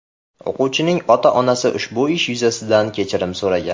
O‘quvchining ota-onasi ushbu ish yuzasidan kechirim so‘ragan.